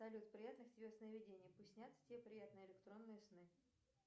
салют приятных тебе сновидений пусть снятся тебе приятные электронные сны